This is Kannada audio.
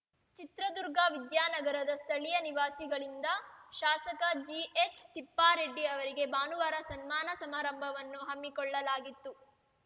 ಚಿತ್ರದುರ್ಗ ವಿದ್ಯಾನಗರದ ಸ್ಥಳೀಯ ನಿವಾಸಿಗಳಿಂದ ಶಾಸಕ ಜಿಎಚ್‌ ತಿಪ್ಪಾರೆಡ್ಡಿ ಅವರಿಗೆ ಭಾನುವಾರ ಸನ್ಮಾನ ಸಮಾರಂಭವನ್ನು ಹಮ್ಮಿಕೊಳ್ಳಲಾಗಿತ್ತು